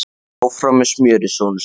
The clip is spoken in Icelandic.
En áfram með smjörið, sonur sæll!